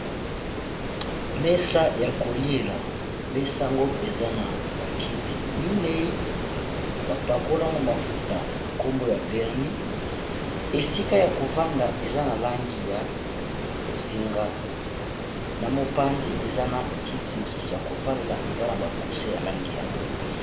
mesa ya koliela mesango eza na bakiti minei bapakolango mafuta na nkombo ya verni esika ya kovanda eza na langi ya bozinga na mopandi eza na kiti mosusu ya kovanlela eza na bakuse ya langi ya pembe